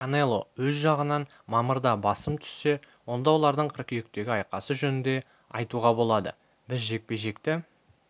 канело өз жағынан мамырда басым түссе онда олардың қыркүйектегі айқасы жөнінде айтуға болады біз жекпе-жекті